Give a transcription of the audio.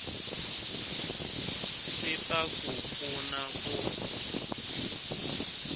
swi ta ku pfuna ku